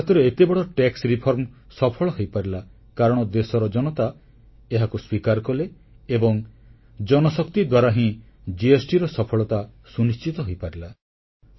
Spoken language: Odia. ଭାରତରେ ଏତେ ବଡ଼ ଟିକସ ସଂସ୍କାର ସଫଳ ହୋଇପାରିଲା କାରଣ ଦେଶର ଜନତା ଏହାକୁ ସ୍ୱୀକାର କଲେ ଏବଂ ଜନଶକ୍ତି ଦ୍ୱାରା ହିଁ GSTର ସଫଳତା ସୁନିଶ୍ଚିତ ହୋଇପାରିଲା